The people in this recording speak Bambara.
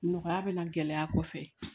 Nɔgɔya bɛ na gɛlɛya kɔfɛ